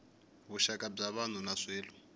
vuxaka bya vanhu na swilo